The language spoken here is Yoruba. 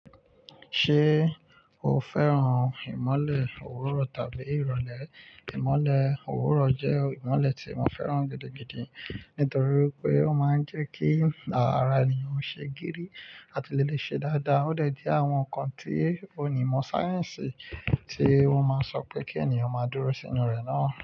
Ṣé o fẹ́ràn ìmọ́lẹ̀ òwúrọ̀ tàbí ìrọ̀lẹ́? Ìmọ́lẹ̀ òwúrọ̀ jẹ́ ìmọ́lẹ̀ tí mo fẹ́ràn gidigidi nítorí pé ó máa ń jẹ́ kí ara ènìyàn ṣe gírí àti lè le ṣe dáadáa. Ó dẹ̀ dí àwọn ǹkan tí onímọ̀ sáyẹ́ǹsì tí wọ́n máa ń sọ pé kí ènìyàn máa dúró sínú rẹ̀ náà.